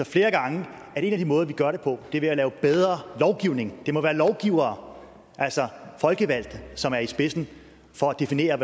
flere gange at en af de måder vi gør det på er ved at lave bedre lovgivning det må være lovgivere altså folkevalgte som er i spidsen for at definere